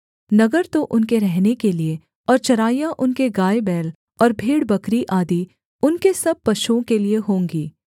नगर तो उनके रहने के लिये और चराइयाँ उनके गायबैल और भेड़बकरी आदि उनके सब पशुओं के लिये होंगी